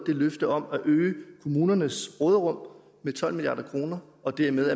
løftet om at øge kommunernes råderum med tolv milliard kroner og dermed